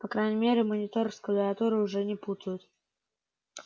по крайней мере монитор с клавиатурой уже не путают